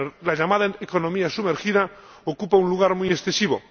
La llamada economía sumergida ocupa un lugar muy excesivo.